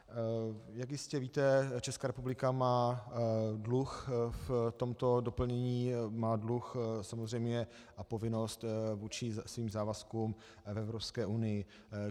Jak jistě víte, Česká republika má dluh v tomto doplnění, má dluh samozřejmě a povinnost vůči svým závazkům v Evropské unii.